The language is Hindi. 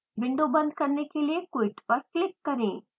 विंडो बंद करने के लिए quit पर क्लिक करें